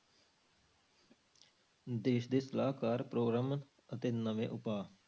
ਦੇਸ ਦੇ ਸਲਾਹਕਾਰ ਪ੍ਰੋਗਰਾਮ ਅਤੇ ਨਵੇਂ ਉਪਾਅ।